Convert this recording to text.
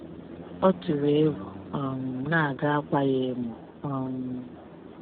Ọ tụrụ egwu um na a ga-akwa ya emo. um